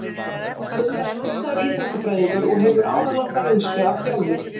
Gunnar er menntaður íþróttafræðingur og hefur áralanga reynslu af þjálfun.